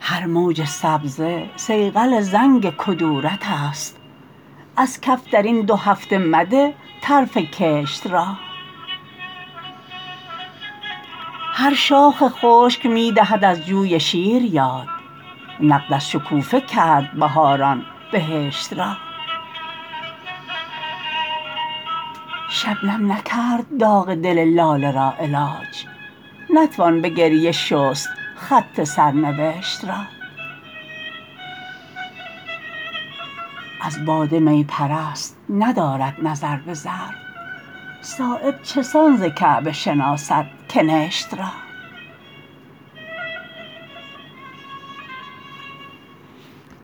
هر موج سبزه صیقل زنگ کدورت است از کف درین دو هفته مده طرف کشت را هر شاخ خشک می دهد از جوی شیر یاد نقد از شکوفه کرد بهاران بهشت را شبنم نکرد داغ دل لاله را علاج نتوان به گریه شست خط سرنوشت را از باده می پرست ندارد نظر به ظرف صایب چسان ز کعبه شناسد کنشت را